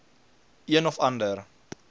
een of ander